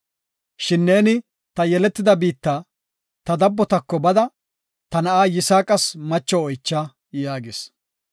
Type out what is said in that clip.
shin neeni ta yeletida biitta, ta dabbotako bada, ta na7a Yisaaqas macho oycha” yaagis.